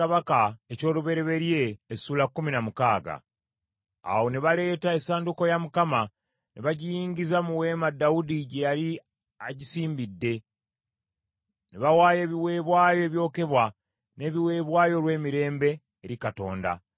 Awo ne baleeta essanduuko ya Mukama , ne bagiyingiza mu weema Dawudi gye yali agisimbidde, ne bawaayo ebiweebwayo ebyokebwa n’ebiweebwayo olw’emirembe eri Katonda.